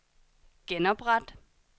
genopret